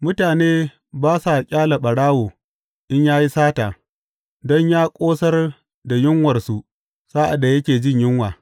Mutane ba sa ƙyale ɓarawo in ya yi sata don yă ƙosar da yunwarsa sa’ad da yake jin yunwa.